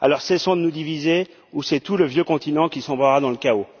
Alors, cessons de nous diviser ou c'est tout le vieux continent qui sombrera dans le chaos.